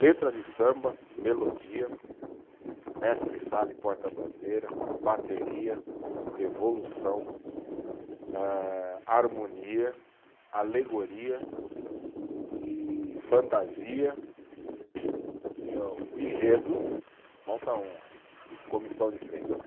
Letra de samba, melodia, mestre sala e porta-bandeira, bateria, evolução eh, harmonia, alegoria, e fantasia. O enredo. E a, o enredo, falta um. Comissão de frente.